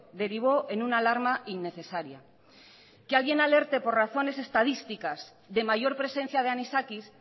derivó en una alarma innecesaria que alguien alerte por razones estadísticas de mayor presencia de anisakis